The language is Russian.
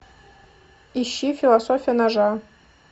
ищи философия ножа